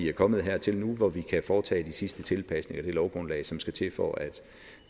er kommet hertil hvor vi kan foretage de sidste tilpasninger af det lovgrundlag som skal til for at